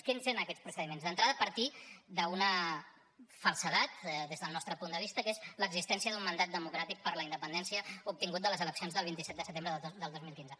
quins eren aquests procediments d’entrada partir d’una falsedat des del nostre punt de vista que és l’existència d’un mandat democràtic per la independència obtingut de les eleccions del vint set de setembre del dos mil quinze